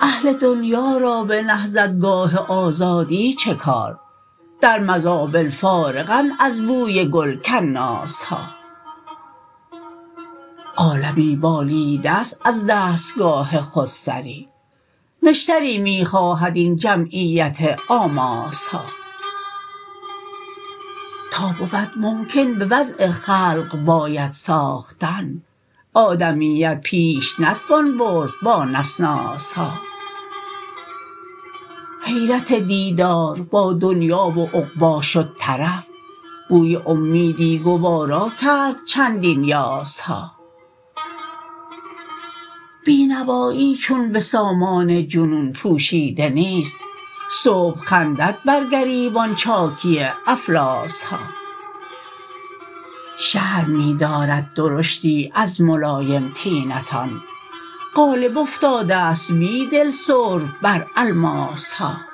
اهل دنیا را به نهضت گاه آزادی چه کار در مزابل فارغند از بوی گل کناس ها عالمی بالیده است از دستگاه خودسری نشتری می خواهد این جمعیت آماس ها تا بود ممکن به وضع خلق باید ساختن آدمیت پیش نتوان برد با نسناس ها حیرت دیدار با دنیا و عقبا شد طرف بوی امیدی گوارا کرد چندین یاس ها بی نوایی چون به سامان جنون پوشیده نیست صبح خندد بر گریبان چاکی افلاس ها شرم می دارد درشتی از ملایم طینتان غالب افتاده ست بیدل سرب بر الماس ها